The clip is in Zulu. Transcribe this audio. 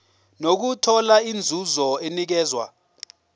nokuthola inzuzo enikezwa